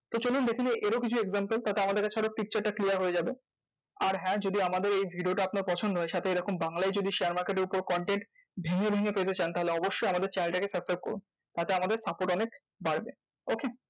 তো চলুন দেখে নিই এর ও কিছু example তাতে আমার কাছে আরো picture টা clear হয়ে যাবে। আর হ্যাঁ যদি আমাদের এই video টা আপনার পছন্দ হয়, সাথে বাংলায় যদি share market এর উপর content ভেঙে ভেঙে পেতে চান? তাহলে অবশ্যই আমাদের channel টাকে subscribe করুন। তাতে আমাদের support অনেক বাড়বে। okay?